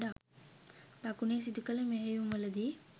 දකුණේ සිදුකළ මෙහෙයුම්වලදී